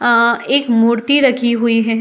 अं एक मूर्ति रखी हुई है।